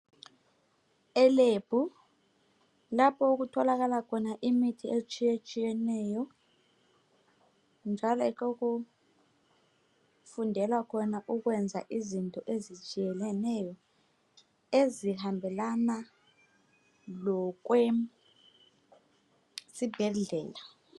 Elab lapho okutholakala imithi etshiye tshiyeneyo njalo yikho okufundelwa khona ukwenza izinto ezitshiyeneyo ezihambelana lo kwesibhedlela.